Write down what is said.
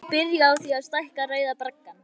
Það er byrjað á því að stækka Rauða braggann.